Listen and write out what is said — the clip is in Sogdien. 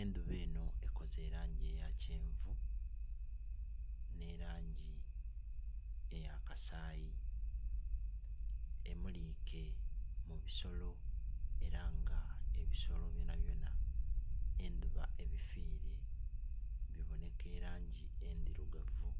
enduba enho ekoze elangi eya kyenvu, n'elangi eyakasaayi, emulike mu bisolo, era nga ebisolo byonabyona endhuba ebifwile, biboneka elangi endhirugavu.